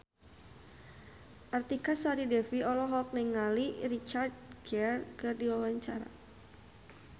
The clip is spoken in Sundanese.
Artika Sari Devi olohok ningali Richard Gere keur diwawancara